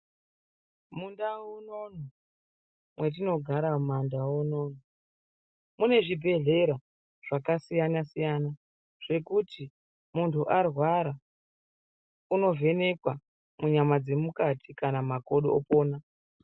Mundau munono mwetinonogara ,mumandau muno munezvibhehlera zvakasiyanasiyana zvekuti muntu arwara unovhenekwa munyama dzemukati kana makodo opona.